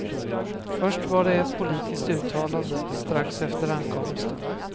Först var det ett politiskt uttalande, strax efter ankomsten.